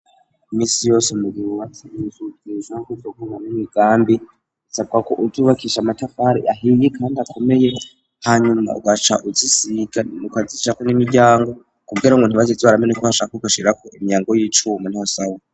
imisi yose mugihe wubatse inzu utegerezwa kubona n'imigambi isabwa ko uzubakisha amatafari ahiye kandi akomeye hanyuma ugaca uzisiga ukazishirako n'imiryango kugira ngo ntibaze barazimena uko bashaka ugashirako imiryango y'icuma niho sawa